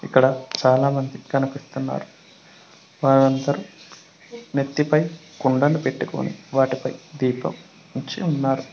ఇక్కడ చాలామంది కనిపిస్తున్నారు వారందరూ నెత్తిపై కుండని పెట్టుకుని వాటిపై దీపం ఉంచి ఉన్నారు.